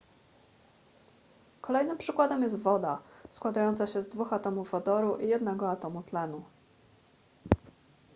kolejnym przykładem jest woda składająca się z dwóch atomów wodoru i jednego atomu tlenu